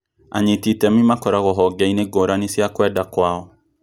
Anyiti itemi makoragwo honge-inĩ ngũrani cia kwenda kwao